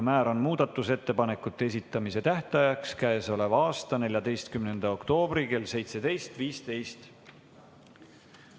Määran muudatusettepanekute esitamise tähtajaks k.a 14. oktoobri kell 17.15.